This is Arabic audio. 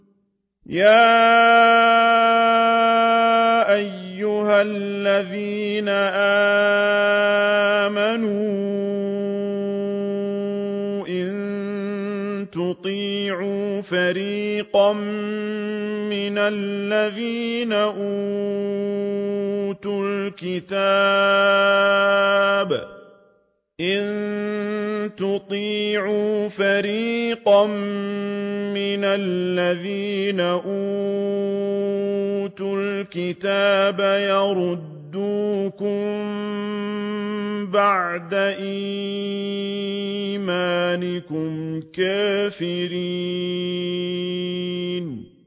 يَا أَيُّهَا الَّذِينَ آمَنُوا إِن تُطِيعُوا فَرِيقًا مِّنَ الَّذِينَ أُوتُوا الْكِتَابَ يَرُدُّوكُم بَعْدَ إِيمَانِكُمْ كَافِرِينَ